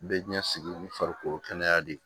Bɛɛ ɲɛsigi ni farikolo kɛnɛya de ye